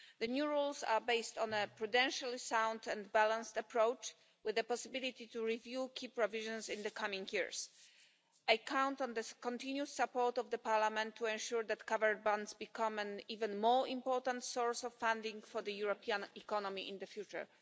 The new rules are based on a prudentially sound and balanced approach, with the possibility to review key provisions in the coming years. I count on the continued support of the Parliament to ensure that covered bonds become an even more important source of funding for the European economy in the future.